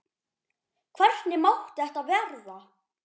Hvernig mátti þetta verða?